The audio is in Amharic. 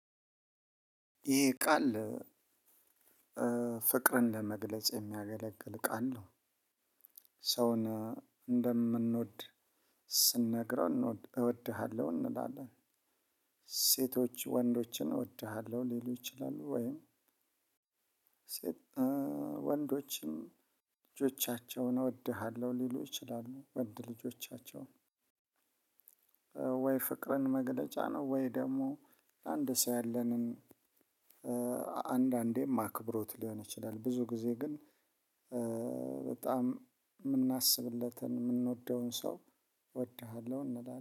ይሄ ቃል ፍቅርን ለመግለጽ የሚያገለግል ቃል ነው። ሰውን እንደምንወድ ስንነግረው እወድሃለሁ እንላለን። ሴቶች ወንዶችን እወድሃለሁ ሊሉ ይችላሉ ወይም ሴት ወንዶችም ልጆቻቸውን እወድሃለሁ ሊሉ ይችላሉ። ወንድ ልጆቻቸውን ወይ ፍቅርን መግለጫ ነው ወይ ደግሞ አንድ ሰው ያለንን አንዳንዴም አክብሮት ሊሆን ይችላል ብዙ ጊዜ ግን በጣም ምናስብለትን ምንወደውን ሰው እወድሃለሁ እንላለን።